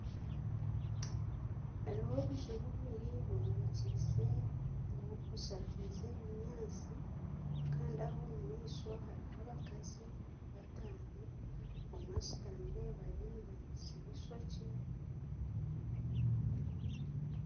Hariho obuju bubiri bushakaize obunyatsi kandi Aho omu maisho hariho abakazi bataano omwe ashutamire bariho nibamushuba eishookye